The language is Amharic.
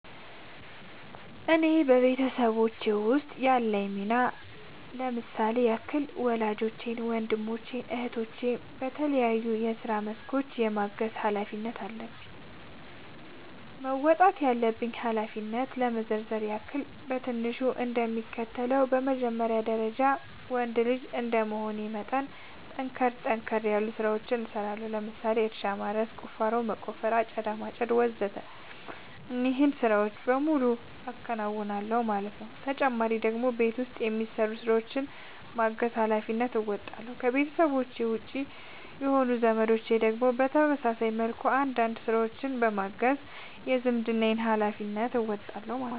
እኔ በቤተሰቦቼ ውስጥ ያለኝ ሚና ለምሳሌ ያክል ወላጆቼን ወንድሞቼን እህቶቼን በተለያዩ የስራ መስኮች የማገዝ ኃላፊነት አለብኝ። መወጣት ያለብኝን ኃላፊነት ለመዘርዘር ያክል በትንሹ እንደሚከተለው ነው በመጀመሪያ ደረጃ ወንድ ልጅ እንደመሆኔ መጠን ጠንከር ጠንከር ያሉ ስራዎችን እሰራለሁ ለምሳሌ እርሻ ማረስ፣ ቁፋሮ መቆፈር፣ አጨዳ ማጨድ ወዘተ እነዚህን ስራዎች በሙሉ አከናውናል ማለት ነው ተጨማሪ ደግሞ በቤት ውስጥ የሚሰሩ ስራዎችን በማገዝ ሃላፊነትን እንወጣለሁ። ከቤተሰቤ ውጪ የሆኑት ዘመዶቼን ደግሞ በተመሳሳይ መልኩ አንዳንድ ስራዎችን በማገዝ የዝምድናዬን ሀላፊነት እወጣለሁ ማለት ነው